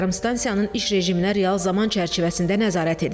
Yarımstansiyanın iş rejiminə real zaman çərçivəsində nəzarət edilir.